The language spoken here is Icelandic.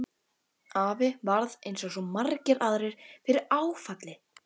Afi varð eins og svo margir aðrir fyrir áfalli.